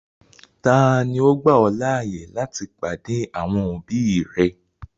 Tani ò gbà ọ̀ laaye láti padé àwọn òbí rẹ̀?